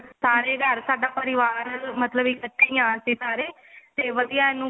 ਸਾਰੇ ਹੀ ਘਰ ਸਾਡਾ ਪਰਿਵਾਰ ਹੈ ਮਤਲਬ ਇੱਕਠੇ ਹੀ ਹਾਂ ਅਸੀਂ ਸਾਰੇ ਤੇ ਵਧੀਆ ਇਹਨੂੰ